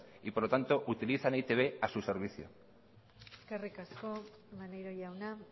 y por lo tanto utilizan a e i te be a su servicio eskerrik asko maneiro jauna